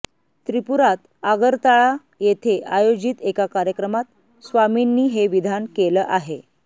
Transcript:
त्रिपुरात आगरताळा येथे आयोजित एका कार्यक्रमात स्वामींनी हे विधान केलं आहे